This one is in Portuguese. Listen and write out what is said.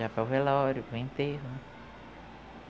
Já foi o velório foi o enterro.